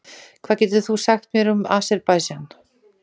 Hvað getur þú sagt mér um Aserbaídsjan?